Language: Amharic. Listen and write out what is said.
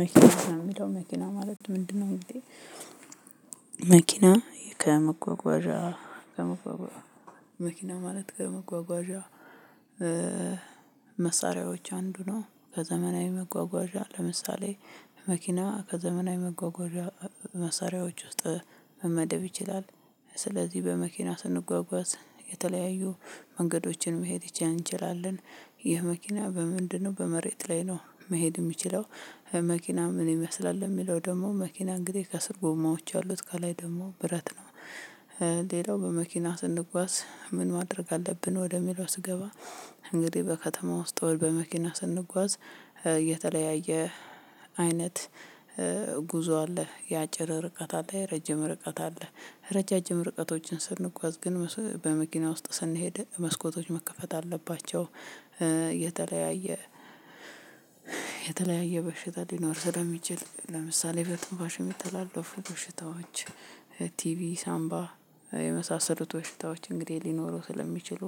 መኪና ከሚለው መኪና ማለት ምንድነው? እንግዲህ መኪና ከመጓጓዣ ከመጓጓዣ መኪና ማለት ከመጓጓዣ መሳሪያዎች አንዱ ነው ከዘመናዊ መጓጓዣ ለምሳሌ መኪና ከዘመናዊ መጓጓዣ መሳሪያዎች ውስጥ መመደብ ይችላል። ስለዚህ በመኪና ስንጓጓዝ የተለያዩ መንገዶችን መሄድ ይቻላል እንችላለን። ይህ መኪና በምንድንነው በመሬት ላይ ነው መሄድ የሚችለው። መኪና ምን ይመስላል ለሚለው ደግሞ መኪና እንግዲህ ከስር ጎማዎች አሉት ከላይ ደግሞ ብረት ነው። ሌላው በመኪና ስንጓዝ ምን ማድረግ አለብን ወደሚለው። ስገባ እንግዲህ በከተማ ውስጥ ወይ በመኪና ስንጓዝ የተለያየ አይነት ጉዞ አለ የአጭር ርቀት አለ የረጅም ርቀት አለ ረጃጅም ርቀቶችን ስንጓዝ ግን መስ በመኪና ውስጥ ስንሄድ መስኮቶች መከፈት አለባቸው። የተለያየ የተለያየ በሽታ ሊኖር ስለሚችል ለምሳሌ በትንፋሽ የሚተላለፉ በሽታዎች። ቲቪ ሳምባ የመሳሰሉት በሽታዎች እንግዲህ ሊኖሩ ስለሚችሉ